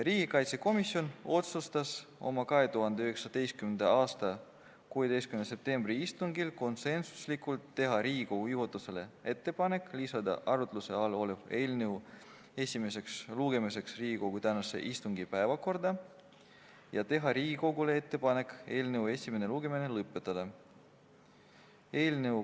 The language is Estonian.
Riigikaitsekomisjon otsustas oma 2019. aasta 16. septembri istungil konsensuslikult teha Riigikogu juhatusele ettepaneku lisada arutluse all olev eelnõu esimeseks lugemiseks tänase istungi päevakorda ja teha Riigikogule ettepaneku eelnõu esimene lugemine lõpetada.